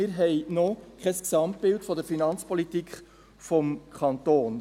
Wir haben noch kein Gesamtbild der Finanzpolitik des Kantons».